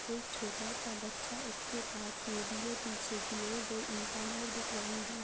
एक छोटा सा बच्चा उसके पास में भी है पीछे की ओर दो इंसान और दिख रहे हैं।